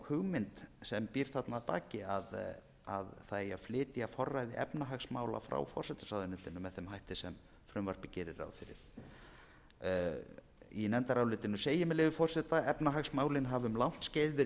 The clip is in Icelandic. hugmynd sem býr þarna að baki að það eigi að flytja forræði efnahagsmála frá forsætisráðuneytinu með þeim hætti sem frumvarpið gerir ráð fyrir í nefndarálitinu segir með leyfi forseta efnahagsmálin hafa um langt skeið verið